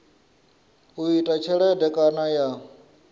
u ita tshelede kana ya